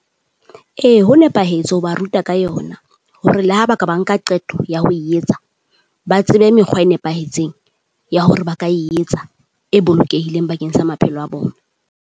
Ee ho nepahetse ho ba ruta ka yona, hore le ha ba ka ba nka qeto ya ho etsa, ba tsebe mekgwa e nepahetseng ya hore ba ka etsa e bolokehileng bakeng sa maphelo a bona.